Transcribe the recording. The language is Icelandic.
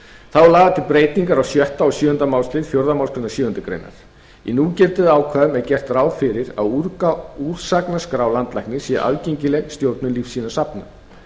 þá eru lagðar til breytingar á sjötta og sjöunda málslið fjórðu málsgrein sjöundu greinar í núgildandi ákvæðum er gert ráð fyrir að úrsagnaskrá landlæknis sé aðgengileg stjórnum lífsýnasafna